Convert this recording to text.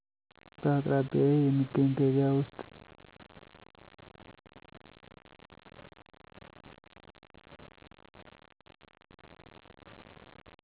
በአቅራቢያዬ የሚገኝ ገበያ ውስጥ